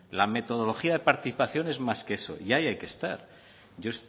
la metodología de participación es más que eso y ahí hay que estar yo